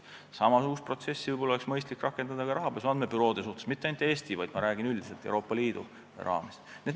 Samasugust protsessi oleks võib-olla mõistlik rakendada ka rahapesu andmebüroode suhtes, mitte ainult Eestis, vaid ma räägin üldiselt Euroopa Liidu raames.